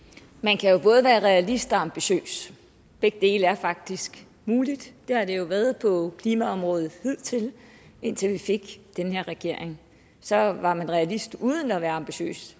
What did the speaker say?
man kan jo både være realist og ambitiøs begge dele er faktisk muligt det har det jo været på klimaområdet hidtil indtil vi fik den her regering så var man realist uden at være ambitiøs